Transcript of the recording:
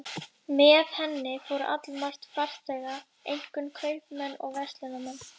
Með henni fór allmargt farþega, einkum kaupmenn og verslunarmenn